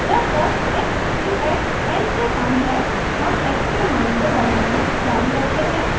जब तक x इन टूx n से कम है हम x के मान को बढ़ाना जारी रखते हैं